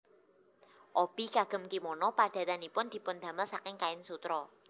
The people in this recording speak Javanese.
Obi kagem kimono padatanipun dipundamel saking kain sutra